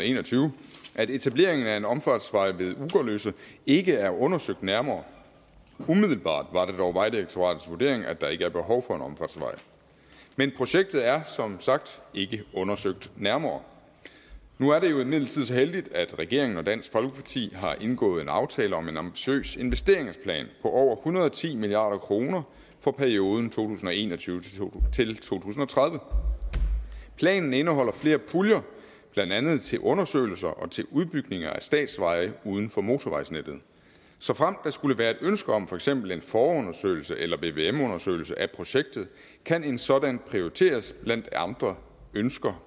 en og tyve at etableringen af en omfartsvej ved ugerløse ikke er undersøgt nærmere umiddelbart var det dog vejdirektoratets vurdering at der ikke er behov for en omfartsvej men projektet er som sagt ikke undersøgt nærmere nu er det imidlertid så heldigt at regeringen og dansk folkeparti har indgået en aftale om en ambitiøs investeringsplan på over hundrede og ti milliard kroner for perioden to tusind og en og tyve til tredive planen indeholder flere puljer blandt andet til undersøgelser og til udbygninger af statsveje uden for motorvejsnettet såfremt der skulle være et ønske om for eksempel en forundersøgelse eller vvm undersøgelse af projektet kan en sådan prioriteres blandt andre ønsker